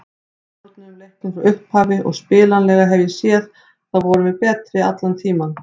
Við stjórnuðum leiknum frá upphafi og spilanlega séð þá vorum við betri allan tímann.